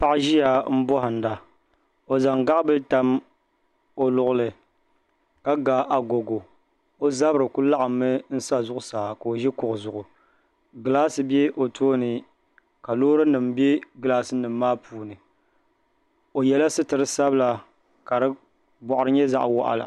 Paɣa n ʒiya n bohanda o zaŋ gaɣabili tam o luɣuli ka ga agogo o zabiri ku laɣimmi n sa zuɣusaa ka o ʒi kuɣu zuɣu gilaasi bɛ o tooni ka loori nim bɛ gilaas nim maa puuni o yɛla sitiri sabila ka di boɣari nyɛ zaɣ waɣala